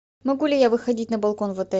могу ли я выходить на балкон в отеле